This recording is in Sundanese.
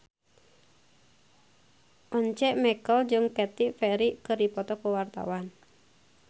Once Mekel jeung Katy Perry keur dipoto ku wartawan